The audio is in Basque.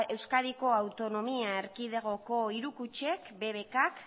euskadiko autonomia erkidegoko hiru kutxek bbk k